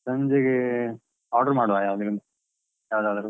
ಸಂಜೆಗೆ order ಮಾಡುವಾ ಹೇಳು, ಯಾವುದಾದರೂ.